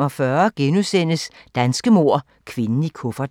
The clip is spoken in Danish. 04:45: Danske mord - Kvinden i kufferten *